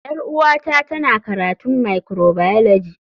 Yar uwata tana karatun microbiology.